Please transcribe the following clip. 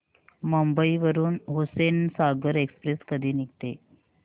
मुंबई वरून हुसेनसागर एक्सप्रेस कधी निघते